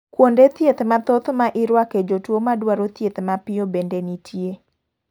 Kuonde thieth mathoth ma iruake jotuo madwaro thieth mapiyo bende nitie.